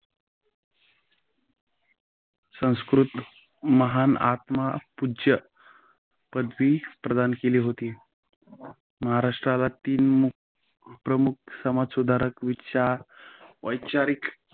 संस्कृत महान आत्मा पूज्य पदवी प्रदान केली होती. महाराष्ट्राला तीन प्रमुख समाजसुधारकांचा वैचारिक